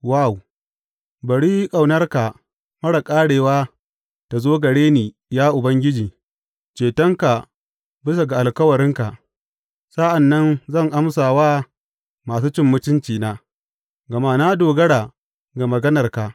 Waw Bari ƙaunarka marar ƙarewa ta zo gare ni, ya Ubangiji, cetonka bisa ga alkawarinka; sa’an nan zan amsa wa masu cin mutuncina, gama na dogara ga maganarka.